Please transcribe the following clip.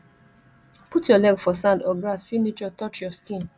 put your leg for sand or grass feel nature touch your skin